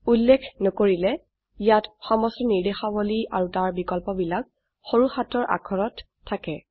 উল্লেখ নকৰিলে ইয়াত সমস্ত ৰ্নিদেশাবলী আৰু তাৰ বিকল্পবিলাক সৰু হাতৰ অাক্ষৰত থাকে